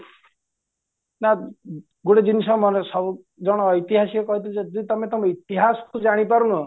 ନା ଗୋଟେ ଜିନିସ ସନେ ସବୁ ଜଣେ ଐତିହାସିକ କହୁଛନ୍ତି ଯଦି ତମେ ତମ ଇତିହାସକୁ ଜାଣି ପାରୁନା